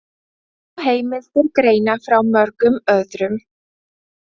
Og heimildir greina frá mörgum öðrum.